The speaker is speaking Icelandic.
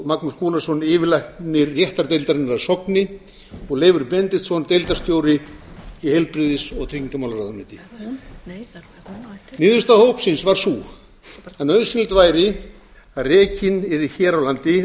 magnús skúlason yfirlæknir réttargeðdeildar að sogni og leifur benediktsson deildarstjóri í heilbrigðis og tryggingamálaráðuneyti niðurstaða starfshópsins var sú að nauðsynlegt væri að rekin yrði hér á landi réttargeðdeild